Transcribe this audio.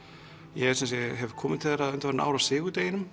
ég sem sé hef komið til þeirra undanfarin ár á